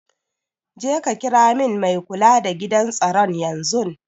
Jeka kira min mai kula da gidan tsaron yanzun.